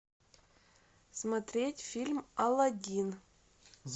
смотреть фильм алладин